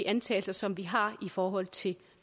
antagelser som vi har i forhold til